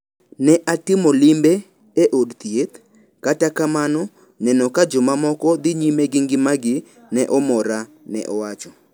Ne atimo limbe e od thieth, kata kamano neno ka jomamoko dhi nyime gi ngimagi ne omora, ne owacho.